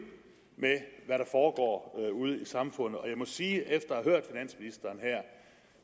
med hvad der foregår ude i samfundet og jeg må sige efter